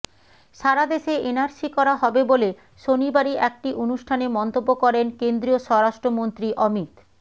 সারা দেশে এনআরসি করা হবে বলে শনিবারই একটি অনুষ্ঠানে মন্তব্য করেন কেন্দ্রীয় স্বরাষ্ট্রমন্ত্রী অমিত